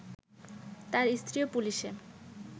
তার স্ত্রীও পুলিশে